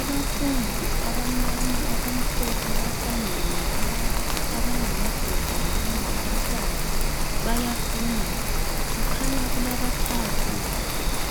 Abafundi abamnyama abamhlophe bahlangene laba abangamadoda labangabafazi bayafunda. Kukhanya kulabathathu